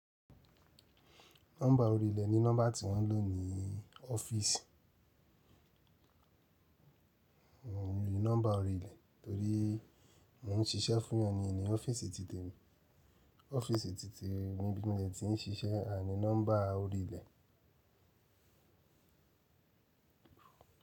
Nọ́mbà orí ilẹ̀ ni nọ́mbà tí wọ́n lò ní ọ́fíìsì. Mii ni nọ́mbà orí ilẹ̀ torí mò ń ṣiṣẹ́ fún ẹni ní n ni ọ́fíìsì titemi. Ọ́fíìsì titi nibi tí mo ti ń ṣiṣẹ́ aa ni nọ́mbà orí ilẹ̀.